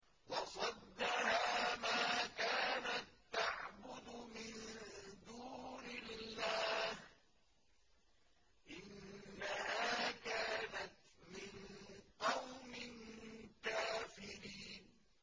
وَصَدَّهَا مَا كَانَت تَّعْبُدُ مِن دُونِ اللَّهِ ۖ إِنَّهَا كَانَتْ مِن قَوْمٍ كَافِرِينَ